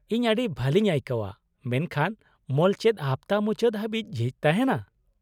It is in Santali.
- ᱤᱧ ᱟᱹᱰᱤ ᱵᱷᱟᱞᱤᱧ ᱟᱹᱭᱠᱟᱹᱣᱟ ᱢᱮᱱᱠᱷᱟᱱ ᱢᱚᱞ ᱪᱮᱫ ᱦᱟᱯᱛᱟ ᱢᱩᱪᱟᱹᱫ ᱦᱟᱵᱤᱡ ᱡᱷᱤᱡ ᱛᱟᱦᱮᱱᱟ ?